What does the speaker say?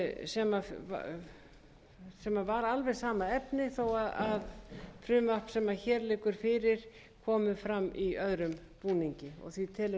sem var alveg sama efnis þó að frumvarpið sem hér liggur fyrir komi fram í öðrum búningi nefndin telur því